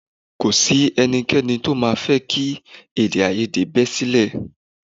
Kò sí ẹnikẹ́ni tó máa fẹ́ kí èdèàìyedè bẹ sílẹ̀